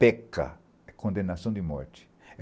Peca é condenação de morte.